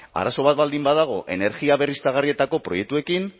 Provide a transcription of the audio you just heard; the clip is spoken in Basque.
arazo bat baldin badago energia berriztagarrietako proiektuekin